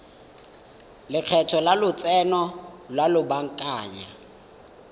lekgetho la lotseno lwa lobakanyana